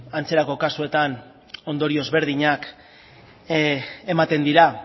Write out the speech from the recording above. antzerako kasuetan ondorio ezberdinak ematen dira